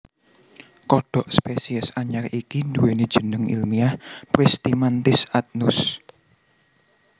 Kodhok spesies anyar iki nduwèni jeneng ilmiah Pristimantis adnus